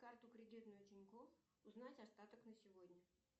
карту кредитную тинькофф узнать остаток на сегодня